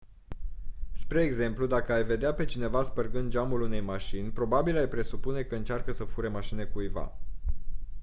spre exemplu dacă ai vedea pe cineva spărgând geamul unei mașini probabil ai presupune că încearcă să fure mașina cuiva